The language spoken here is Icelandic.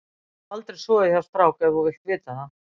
Ég hef aldrei sofið hjá strák ef þú vilt vita það.